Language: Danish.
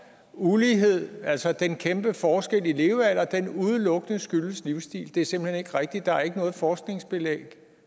ulighed altså den kæmpe forskel i levealder udelukkende skyldes livsstil det er simpelt hen ikke rigtigt der er ikke noget forskningsbelæg